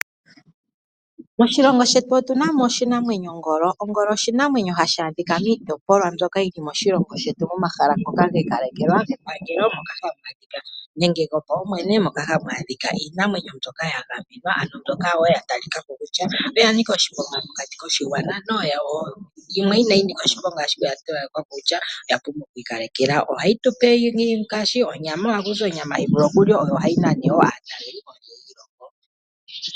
Moshilongo shetu otu na oshinanwenyo ongolo, ongolo oshinamwenyo hashi adhila miitopolwa mbyoka yili moshilongo shetu. Momahala ngoka giikalekelwa gepangelo nenge gopaumwene moka hamu adhika iinamwenyo mbyoka ya gamenwa. Ano mbyoka yatalikako kutya yanika oshiponga mokati koshigwa naamboka inayi nika oshiponga oya pumbwa okwi kalekelwa. Ohayi tupe onyama hayi vulu okuliwa, yo ohayi nana wo aatalelipo.